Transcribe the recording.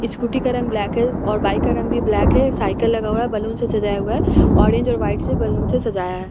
Scooty का रंग black है और बाइक का रंग भी ब्लैक है साइकिल लगा हुआ है बलून से सजाया हुआ है ऑरेंज और वाइट से बलून से सजाया है।